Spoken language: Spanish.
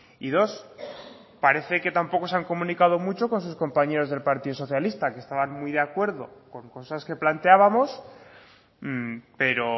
y dos parece que tampoco se han comunicado mucho con sus compañeros del partido socialista que estaban muy de acuerdo con cosas que planteábamos pero